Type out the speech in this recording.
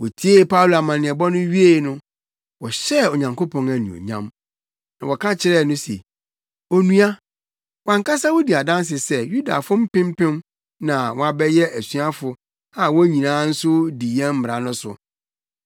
Wotiee Paulo amanneɛbɔ no wiei no, wɔhyɛɛ Onyankopɔn anuonyam. Na wɔka kyerɛɛ no se, “Onua, wʼankasa wudi adanse sɛ Yudafo mpempem na na wɔabɛyɛ asuafo a wɔn nyinaa nso di yɛn mmara no so.